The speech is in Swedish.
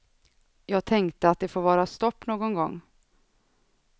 Jag tänkte att det får vara stopp någon gång.